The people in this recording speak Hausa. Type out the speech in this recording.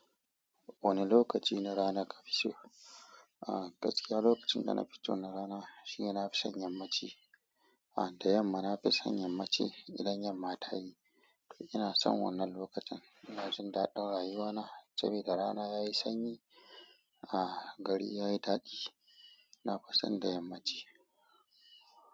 Wane lokaci na rana kafi so? Ah, gaskiya lokacin da na fi so na rana shi ne na fison yammaci. Ah, da yamma na fi son yammaci idan yamma ta yi, to ina son wannan lokacin. In jin dadin rayuwana, sabida rana yayi sanyi, ah, gari yayi daɗi. Na fi son da yamma ce.